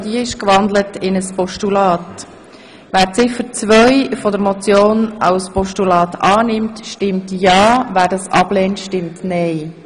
Wer sie als Postulat annehmen will, stimmt ja, wer das ablehnt, stimmt nein.